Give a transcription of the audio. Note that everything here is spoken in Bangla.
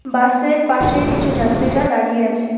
বাসের পাশে কিছু যাত্রীরা দাঁড়িয়ে আছে।